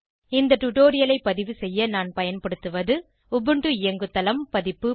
இந்த டுடோரியலை பதிவு செய்ய நான் பயன்படுத்துவது உபுண்டு இயங்குதளம் பதிப்பு